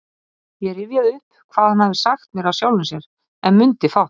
Ég rifjaði upp hvað hann hafði sagt mér af sjálfum sér, en mundi fátt.